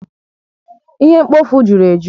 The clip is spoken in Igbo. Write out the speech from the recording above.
Ihe mkpofu juru eju